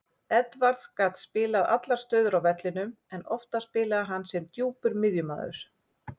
Edwards gat spilað allar stöður á vellinum en oftast spilaði hann sem djúpur miðjumaður.